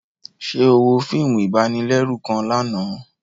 Ṣe o wo fíìmù ibanilẹru kàn lànà?